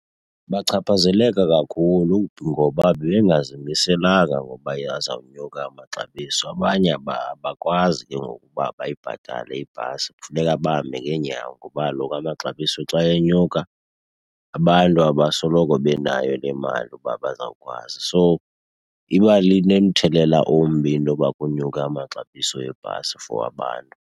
Bachaphazeleka kakhulu ngoba bebengazimiselanga ngoba ke azawunyuka amaxabiso. Abanye abakwazi ke ngoku uba bayibhatale ibhasi, kufuneka bahambe ngeenyawo. Ngoba kaloku amaxabiso xa enyuka abantu abasoloko benayo le mali ukuba bazawukwazi. So iba nomthelela ombi intoba kunyuke amaxabiso ebhasi for abantu.